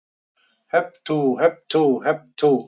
Hep tú, hep tú, hep tú.